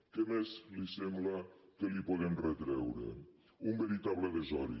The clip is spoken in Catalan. què més li sembla que li podem retreure un veritable desori